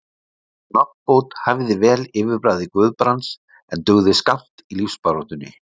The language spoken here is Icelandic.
Sú nafnbót hæfði vel yfirbragði Guðbrands, en dugði skammt í lífsbaráttunni.